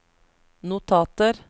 notater